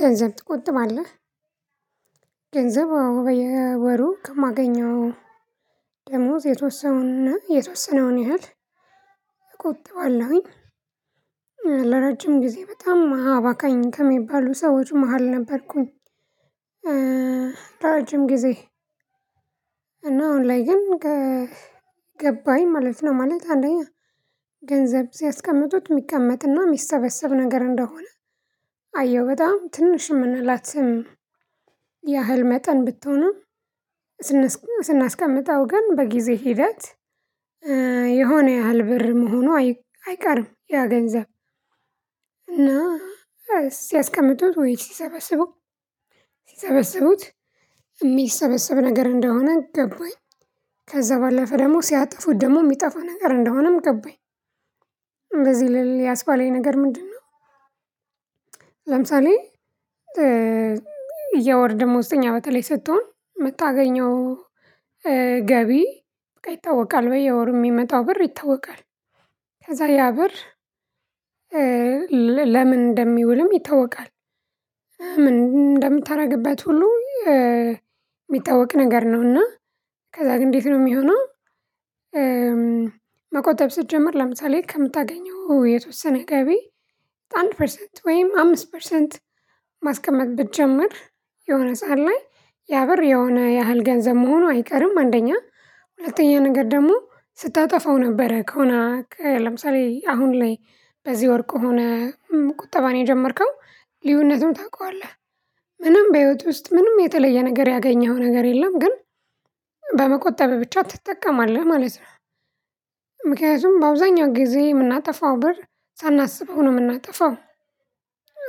ገንዘብ ትቆጥባለህ ገንዘብ አዎ በየወሩ ከማገኘው ደመወዝ የተወሰነውን እና የተወሰነውን ያህል እቆጥባለሁኝ። ለረጅም ጊዜ በጣም አባካኝ ከሚባሉ ሰዎች መሃል ነበርኩኝ። ለረጅም ጊዜ እና አሁን ላይ ግን ገገባኝ ማለት ነው። ማለት አንደኛ ገንዘብ ሲያስቀምጡት የሚቀመጥና የሚሰበሰብ ነገር እንደሆነ አየሁ በጣም ትንሽ የምንላት ያህል መጠን ብትሆንም ስናስቀምጠው ግን በጊዜ ሂደት የሆነ ያህል ብር መሆኑ አይ አይቀርም ያ ገንዘብ እና ሲያስቀምጡት ወይ ሲሰበስቡ ሲሰበስቡት የሚሰበሰብ ነገር እንደሆነ ገባኝ ከዛ ባለፈ ደግሞ ሲያጠፉት ደግሞ የሚጠፋ ነገር እንደሆነም ገባኝ እንደዚህ ልል ያስባለኝ ነገር ምንድነው? የወር ደመወዝተኛ በተለይ ስትሆን የምታገኘው ገቢ በቃ ይታወቃል በየወሩ የሚመጣው ብር ይታወቃል። ከዛ ያ ብር ለ ለምን እንደሚውልም ይታወቃል። ምን እንደምታደርግበት ሁሉ የሚታወቅ ነገር ነው እና ከዛ ግን እንዴት ነው የሚሆነው? መቆጠብ ስትጀምር ለምሳሌ ከምታገኘው የተወሰነ ገቢ አንድ ፐርሰንት ወይም አምስት ፐርሰንት ማስቀመጥ ብትጀምር የሆነ ሰዓት ላይ ያ ብር የሆነ ያህል ገንዘብ መሆኑ አይቀርም አንደኛ ሁለተኛ ነገር ደግሞ ስታጠፋው ነበረ ከሆነ ለምሳሌ አሁን ላይ በዚህ ወር ከሆነ ቁጠባን የጀመርከው ልዩነቱን ታውቀዋለህ። ምንም በህይወት ውስጥ ምንም የተለየ ነገር ያገኘኸው ነገር የለም ግን በመቆጠብህ ብቻ ትጠቀማለህ ማለት ነው። ምክንያቱም በአብዛኛው ጊዜ የምናጠፋው ብር ሳናስበው ነው የምናጠፋው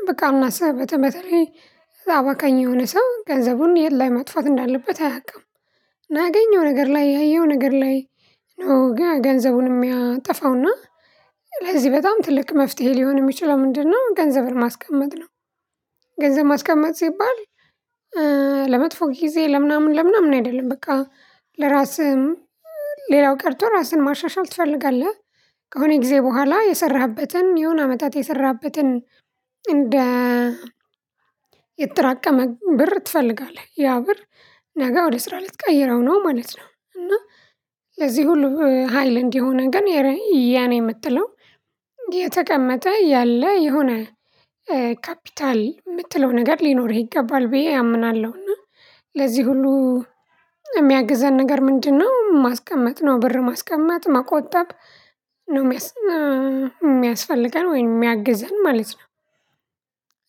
በቃ አሁን አሰ በተ በተለይ አባካኝ የሆነ ሰው ገንዘቡን የት ላይ ማጥፋት እንዳለበት አያውቅም። ላገኘው ነገር ላይ ያየው ነገር ላይ ነው ገገንዘቡን የሚያጠፋው እና ለዚህ በጣም ትልቅ መፍትሄ ሊሆን የሚችለው ምንድነው? ገንዘብን ማስቀመጥ ነው። ገንዘብ ማስቀመጥ ሲባል ለመጥፎ ጊዜ ለምናምን ለምናምን አይደለም በቃ ለራስህም ሌላው ቀርቶ ራስህን ማሻሻል ትፈልጋለህ። ከሆነ ጊዜ በኋላ የሰራህበትን የሆነ አመታት የሰራህበትን እንደ የተጠራቀመ ብር ትፈልጋለህ ያ ብር ነገ ወደ ስራ ልትቀይረው ነው ማለት ነው። እና ለዚህ ሁሉ ሀይል እንዲሆነህ ግን የረ የኔ የምትለው የተቀመጠ ያለ የሆነ ካፒታል የምትለው ነገር ሊኖርህ ይገባል። ብዬ አምናለሁና ለዚህ ሁሉ የሚያግዘን ነገር ምንድነው ማስቀመጥ ነው ብር ማስቀመጥ መቆጠብ ነው። የሚያስፈልገን ወይንም የሚያግዘን ማለት ነው።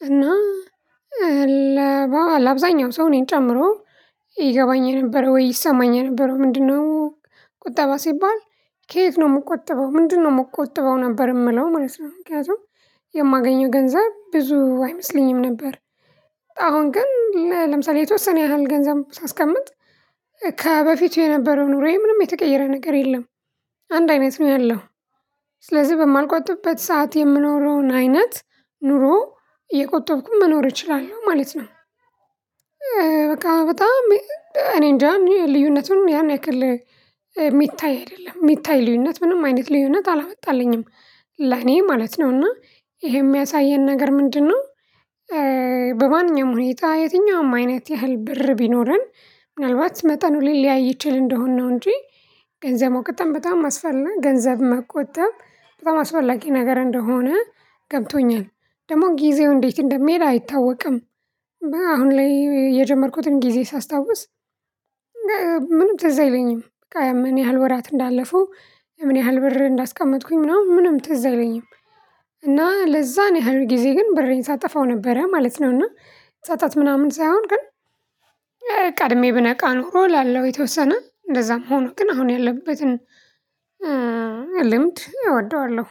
እና ለአብዛኛው ሰው እኔን ጨምሮ ይገባኝ የነበረው ወይ ይሰማኝ የነበረው ምንድነው? ቁጠባ ሲባል ከየት ነው የምቆጥበው ምንድነው የምቆጥበው ነበር የምለው ማለት ነው። ምክንያቱም የማገኘው ገንዘብ ብዙ አይመስለኝም ነበር። አሁን ግን ለምሳሌ የተወሰነ ያህል ገንዘብ ሳስቀምጥ ከበፊቱ የነበረው ኑሮዬ ምንም የተቀየረ ነገር የለም። አንድ አይነት ነው ያለው ስለዚህ በማልቆጥብበት ሰዓት የምኖረውን አይነት ኑሮ እየቆጠብኩም መኖር እችላለሁ ማለት ነው። በቃ በጣም እኔንጃ እኔ ልዩነቱን ያን ያክል የሚታይ አይደለም የሚታይ ልዩነት ምንም አይነት ልዩነት አላመጣልኝም ለኔ ማለት ነው። እና ይሄ የሚያሳየን ነገር ምንድነው? በማንኛውም ሁኔታ የትኛውም አይነት ያህል ብር ቢኖረን ምናልባት መጠኑን ሊያይ ይችል እንደሆንነው እንጂ ገንዘብ መቆጠብ በጣም አስፈላ ገንዘብ መቆጠብ በጣም አስፈላጊ ነገር እንደሆነ ገብቶኛል። ደግሞ ጊዜው እንዴት እንደሚሄድ አይታወቅም። በ አሁን ላይ የጀመርኩትን ጊዜ ሳስታውስ ምንም ትዝ አይለኝም በቃ ምን ያህል ወራት እንዳለፉ ምን ያህል ብር እንዳስቀመጥኩኝ ምናምን ምንም ትዝ አይለኝም። እና ለዛ ነው ያህል ጊዜ ግን ብሬን ሳጠፋው ነበረ ማለት ነው። እና ጸጸት ምናምን ሳይሆን ግን ቀድሜ ብነቃ ኖሮ እላለሁ የተወሰነ እንደዛም ሆኖ ግን አሁን ያለሁበትን ልምድ እወደዋለሁ